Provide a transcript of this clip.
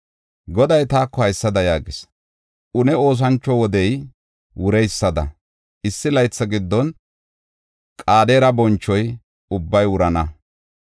Goday taako haysada yaagis: “Une oosancho wodey wureysada, issi laytha giddon Qedaare boncho ubbay wurana.